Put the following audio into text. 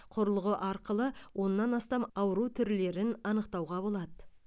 құрылғы арқылы оннан астам ауру түрлерін анықтауға болады